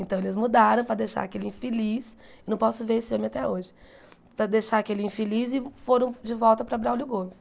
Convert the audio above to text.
Então eles mudaram para deixar aquele infeliz, não posso ver esse homem até hoje, para deixar aquele infeliz e foram de volta para Braulio Gomes.